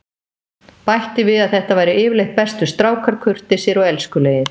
Bætti við að þetta væru yfirleitt bestu strákar, kurteisir og elskulegir.